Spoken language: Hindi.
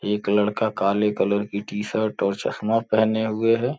एक लड़का काले कलर की टीशर्ट और चश्मा पहने हुए है।